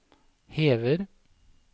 hever